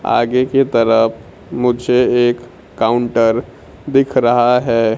आगे के तरफ मुझे एक काउंटर दिख रहा है।